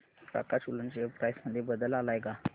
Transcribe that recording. प्रकाश woollen share price मध्ये बदल आलाय का